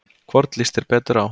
Hvorn líst þér betur á?